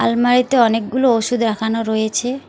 আলমারিতে অনেকগুলো ওষুধ রাখানো রয়েছে।